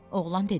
Oğlan dedi: